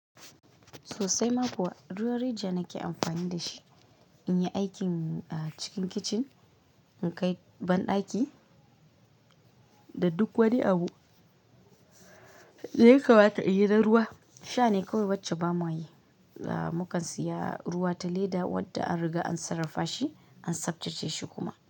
Sosai ma kuwa ruwan rijiya nake amfani da shi in yi aikin cikin kicin, in kai banɗaki da duk wani abu. Da yakama ta in yi na ruwa sha ne kawai wacce ba mu yi. Mu kan siya ruwa ta leda wadda an riga an sarrafa shi an sabtace shi kuma.